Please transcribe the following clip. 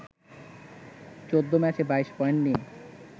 ১৪ ম্যাচে ২২ পয়েন্ট নিয়ে